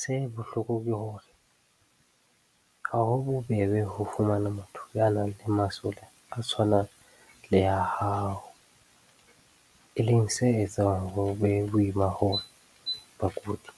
Se bohloko ke hore ha ho bobebe ho fumana motho ya nang le masole a tshwanang le a hao, e leng se etsang ho be boima hore bakudi